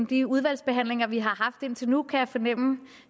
de udvalgsbehandlinger vi har haft indtil nu kan jeg fornemme